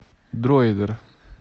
дроидер